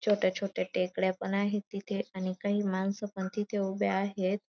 छोट्या छोट्या टेकड्या पण आहेत तिथे आणि काही मानस पण तिथे उभे आहेत.